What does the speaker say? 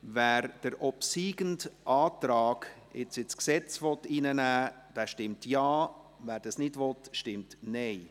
Wer den obsiegenden Antrag ins Gesetz aufnehmen will, stimmt Ja, wer dies ablehnt, stimmt Nein.